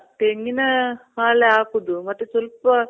ತೆಂಗಿನ ಹಾಲೆ ಹಾಕೋದು ಮತ್ತೆ ಸ್ವಲ್ಪ